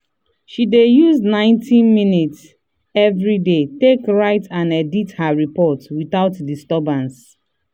she dey use ninety minutes everyday take write and edit her report without disturbance.